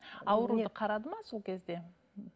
ауруды қарады ма сол кезде